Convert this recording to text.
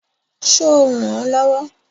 Ṣo rànán lọ́wọ́?